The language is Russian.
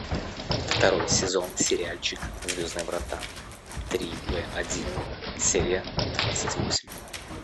второй сезон сериальчик звездные врата три б один серия двадцать восемь